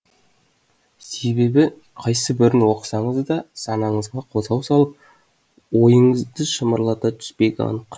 себебі қайсы бірін оқысаңыз да санаңызға қозғау салып ойыңызды шымырлата түспегі анық